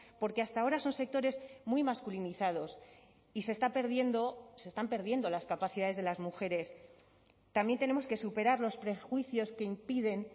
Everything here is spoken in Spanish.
porque hasta ahora son sectores muy masculinizados y se está perdiendo se están perdiendo las capacidades de las mujeres también tenemos que superar los prejuicios que impiden